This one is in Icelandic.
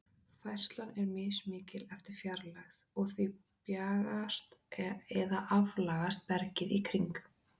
Færslan er mismikil eftir fjarlægð, og því bjagast eða aflagast bergið í kring.